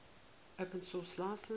open source license